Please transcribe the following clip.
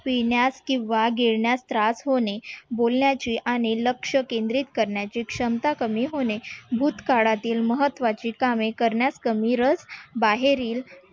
पिण्यात केव्हा गेल्या त्रास होणे बोलण्याचे आणि लक्ष केंद्रित करण्याचे क्षमता कमी होणे भूतकाळातील महत्त्वाची कामे करण्या बाहेरील